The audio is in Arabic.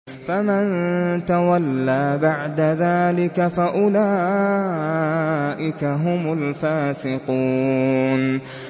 فَمَن تَوَلَّىٰ بَعْدَ ذَٰلِكَ فَأُولَٰئِكَ هُمُ الْفَاسِقُونَ